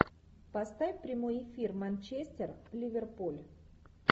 поставь прямой эфир манчестер ливерпуль